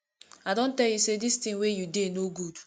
i don tell you say dis thing wey you dey no good